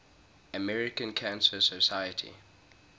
american cancer society